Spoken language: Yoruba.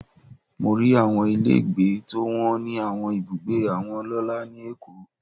Mo rí àwọn ilé gbé tó wọ́n ní àwọn ibùgbé àwọn ọlọ́lá ni Èkó.